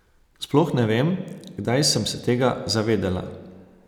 Sploh ne vem, kdaj sem se tega zavedela.